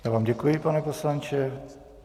Já vám děkuji, pane poslanče.